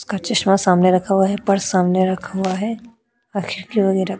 उसका चश्मा सामने रखा हुआ है। पर्स सामने रखा हुआ है --